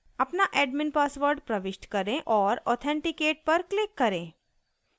अपना admin password प्रविष्ट करें और authenticate पर क्लिक करें